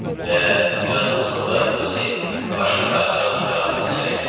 Və bir azdan sonra Yusif başqa qaracılarla bərabər içəri girdi.